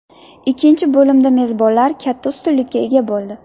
Ikkinchi bo‘limda mezbonlar katta ustunlikka ega bo‘ldi.